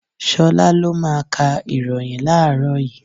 Ṣolá lo máa ka ìròyìn láàrọ́ yìí.